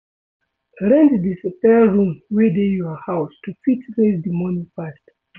Rent di spare room wey dey your house to fit raise di money fast